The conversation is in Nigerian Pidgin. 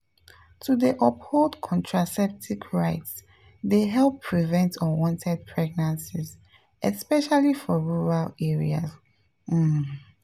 to dey uphold contraceptive rights dey help prevent unwanted pregnancies especially for rural areas um.